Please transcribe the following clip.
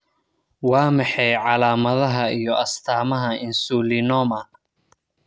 Waa maxay calaamadaha iyo astaamaha Insulinoma?